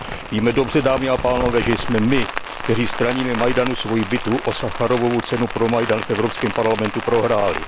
Víme dobře, dámy a pánové, že jsme my, kteří straníme Majdanu, svoji bitvu o Sacharovovu cenu pro Majdan v Evropském parlamentu prohráli.